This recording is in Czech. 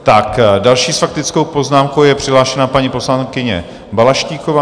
Tak další s faktickou poznámkou je přihlášená paní poslankyně Balaštíková.